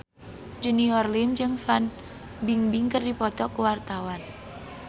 Junior Liem jeung Fan Bingbing keur dipoto ku wartawan